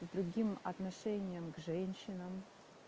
с другим отношением к женщинам